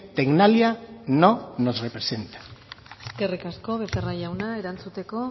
tecnalia no nos representa eskerrik asko becerra jauna erantzuteko